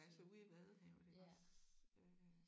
Altså ude i Vadehavet iggås øh